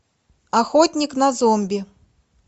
охотник на зомби